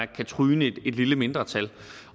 kan tryne et lille mindretal